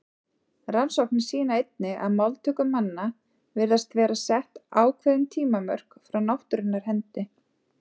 Rannsóknir sýna einnig að máltöku manna virðast vera sett ákveðin tímamörk frá náttúrunnar hendi.